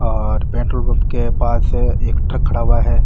और petrol pump के पास एक ट्रक खड़ा हुआ है।